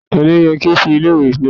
Ta ni ó yẹ kí ó fọ ilé ìwẹ̀ lónìí?